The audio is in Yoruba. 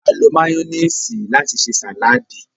a lo mayonnaise láti se saladi.